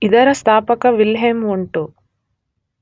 ಇದರ ಸ್ಥಾಪಕ Wilhelm won't.